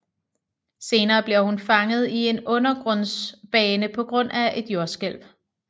Senere bliver hun fanget i en undergrundsbane på grund af et jordskælv